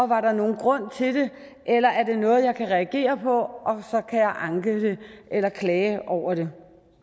var der nogen grund til det eller er det noget jeg kan reagere på anke eller klage over